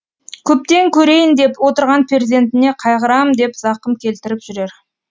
көптен көрейін деп отырған перзентіне қайғырам деп зақым келтіріп жүрер